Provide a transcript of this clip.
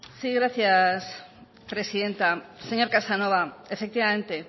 gracias presidenta señor casanova efectivamente